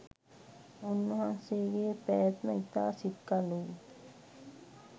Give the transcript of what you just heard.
උන්වහන්සේගෙ පැවැත්ම ඉතා සිත්කලුයි.